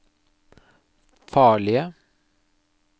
farlige